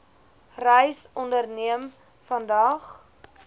reis onderneem vandag